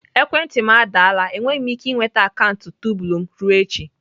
Ekwentị m adaala enweghị m ike ịnweta akaụntụ Tumblr m ruo echi.